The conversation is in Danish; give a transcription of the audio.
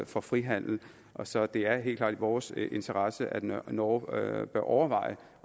for frihandel så det er helt klart i vores interesse at norge norge overvejer